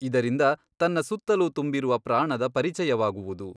ಇದರಿಂದ ತನ್ನ ಸುತ್ತಲೂ ತುಂಬಿರುವ ಪ್ರಾಣದ ಪರಿಚಯವಾಗುವುದು.